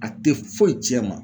A te foyi cɛn e ma